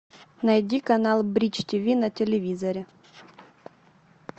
найди канал бридж тв на телевизоре